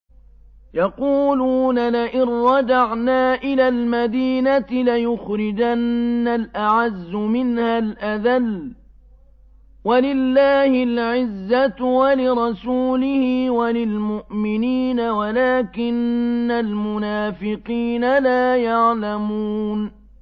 يَقُولُونَ لَئِن رَّجَعْنَا إِلَى الْمَدِينَةِ لَيُخْرِجَنَّ الْأَعَزُّ مِنْهَا الْأَذَلَّ ۚ وَلِلَّهِ الْعِزَّةُ وَلِرَسُولِهِ وَلِلْمُؤْمِنِينَ وَلَٰكِنَّ الْمُنَافِقِينَ لَا يَعْلَمُونَ